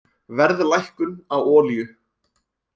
Verðlækkun á olíu